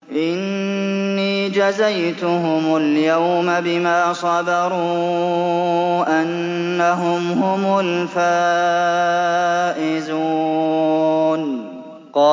إِنِّي جَزَيْتُهُمُ الْيَوْمَ بِمَا صَبَرُوا أَنَّهُمْ هُمُ الْفَائِزُونَ